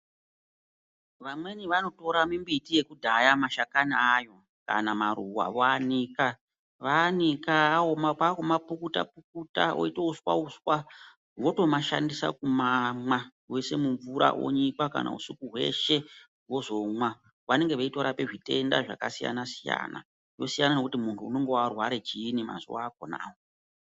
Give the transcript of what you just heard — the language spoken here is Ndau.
Vamweni vanotora mimbiti yekudhaya, mashakani ayo kana maruwa voanika. Vaanika, aoma kwakumapukuta-pukuta, oita uswa-uswa, votomashandisa kumamwa, voishe mumvura onyikwa kana husiku hwese vozomwa. Vanenge veitorape zvitenda zvakasiyana-siyana, zvosiyana nekuti muntu unenge warware chiini mazuva akhonawo.